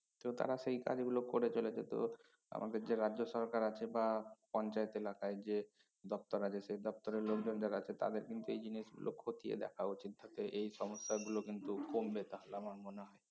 তো তারা সেই কাজগুলো করে চলেছে তো আমাদের যে রাজ্য সরকার আছে বা পঞ্চায়েত এলাকায় যে দপ্তর আছে সে দপ্তরের লোকজন যারা আছে তাদের কিন্তু এই জিনিসগুলো খতিয়ে দেখা উচিৎ তাতে এই সমস্যাগুলো কিন্তু কমবে তাহলে আমার মনে হয়